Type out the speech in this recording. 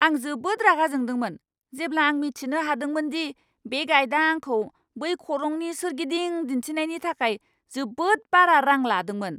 आं जोबोद रागा जोंदोंमोन, जेब्ला आं मिथिनो हादोंमोन दि बे गाइडा आंखौ बै खरंनि सोरगिदिं दिन्थिनायनि थाखाय जोबोद बारा रां लादोंमोन!